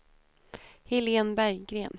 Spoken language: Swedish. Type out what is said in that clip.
Helene Berggren